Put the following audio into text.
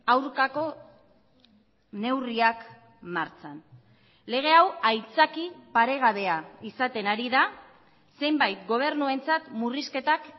aurkako neurriak martxan lege hau aitzaki paregabea izaten ari da zenbait gobernuentzat murrizketak